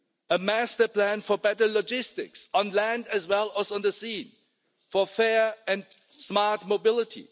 A master plan for better logistics, on land as well as on the sea, for fair and smart mobility.